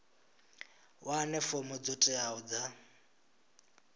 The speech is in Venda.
wane fomo dzo teaho dza